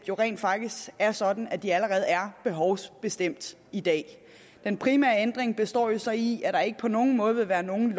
jo rent faktisk er sådan at de allerede er behovsbestemt i dag den primære ændring består så i at der ikke på nogen måde vil være nogen